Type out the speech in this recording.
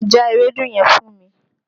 Já ewédú yẹn fún mi!